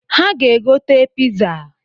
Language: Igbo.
Ha ga-agote piza